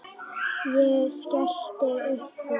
Ég skellti upp úr.